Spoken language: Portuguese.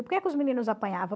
Por que que os meninos apanhavam?